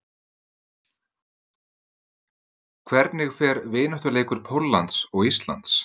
Hvernig fer vináttuleikur Póllands og Íslands?